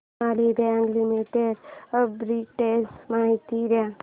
Sonali bank limited arbitrage माहिती दे